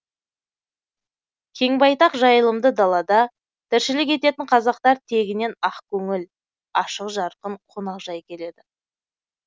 кең байтақ жайылымды далада тіршілік ететін қазақтар тегінен ақ көңіл ашық жарқын қонақжай келеді